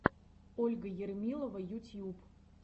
ольга ермилова ютьюб